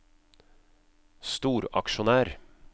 storaksjonær